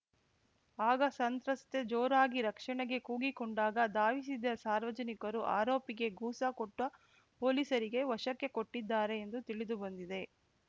ಆಗ ಸಂತ್ರಸ್ತೆ ಜೋರಾಗಿ ರಕ್ಷಣೆಗೆ ಕೂಗಿಕೊಂಡಾಗ ಧಾವಿಸಿದ ಸಾರ್ವಜನಿಕರು ಆರೋಪಿಗೆ ಗೂಸಾ ಕೊಟ್ಟಪೊಲೀಸರಿಗೆ ವಶಕ್ಕೆ ಕೊಟ್ಟಿದ್ದಾರೆ ಎಂದು ತಿಳಿದು ಬಂದಿದೆ